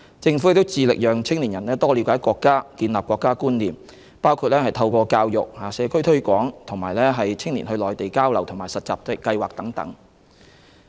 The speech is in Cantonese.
政府致力培養青年人多了解國家，建立國家觀念，包括透過教育、社區推廣和青年到內地交流和實習計劃等。